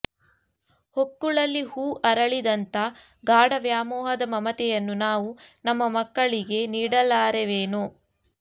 ಹೊಕ್ಕುಳಲ್ಲಿ ಹೂ ಅರಳಿದಂಥ ಗಾಢ ವ್ಯಾಮೋಹದ ಮಮತೆಯನ್ನು ನಾವು ನಮ್ಮ ಮಕ್ಕಳಿಗೆ ನೀಡಲಾರೆವೇನೋ